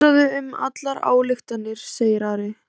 Hugsaðu um allar ályktanirnar, segir Ari.